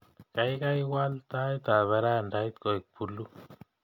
Gaigai waal taitab ferandait koek puluu